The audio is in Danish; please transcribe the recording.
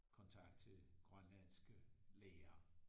Kontakt til grønlandske lærere